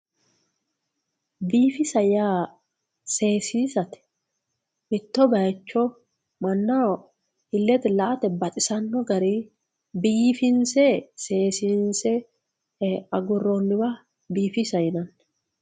biifisa yaa sesiisate mitto bayiicho manaho illete la"ate baxisanno garii biifinse seesiinse agurooniwa biifisa yinanni.